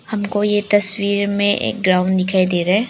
हमको यह तस्वीर में एक ग्राउंड दिखाई दे रहा है।